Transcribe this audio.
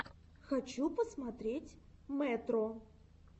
хочу посмотреть мэтро